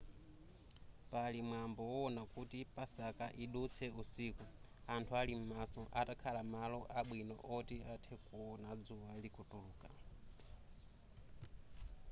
pali mwambo wowona kuti pasaka idutse usiku anthu ali m'maso atakhala malo abwino oti athe kuona dzuwa likutuluka